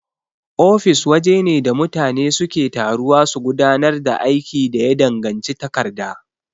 Ofis wajene da mutane suke taruwa su gudanar da aiki da ya danganci takarda.